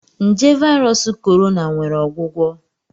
Nje Virus Corona nwere ọgwụgwọ?